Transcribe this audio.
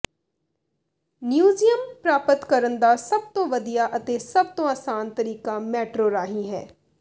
ਨਿਊਜ਼ੀਅਮ ਪ੍ਰਾਪਤ ਕਰਨ ਦਾ ਸਭ ਤੋਂ ਵਧੀਆ ਅਤੇ ਸਭ ਤੋਂ ਆਸਾਨ ਤਰੀਕਾ ਮੈਟਰੋ ਰਾਹੀਂ ਹੈ